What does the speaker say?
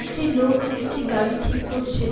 একটি লোক একটি গাড়ি ঠিক করছেন